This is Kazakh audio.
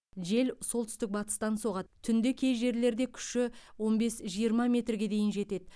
жел солтүстік батыстан соғады түнде кей жерлерінде күші он бес жиырма метрге дейін жетеді